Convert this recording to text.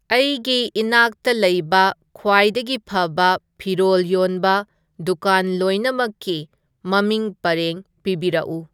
ꯑꯩꯒꯤ ꯏꯅꯥꯛꯇ ꯂꯩꯕ ꯈ꯭ꯋꯥꯏꯗꯒꯤ ꯐꯕ ꯐꯤꯔꯣꯜ ꯌꯣꯟꯕ ꯗꯨꯀꯥꯟ ꯂꯣꯏꯅꯃꯛꯀꯤ ꯃꯃꯤꯡ ꯄꯔꯦꯡ ꯄꯤꯕꯤꯔꯛꯎ